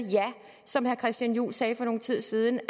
som herre christian juhl sagde for nogen tid siden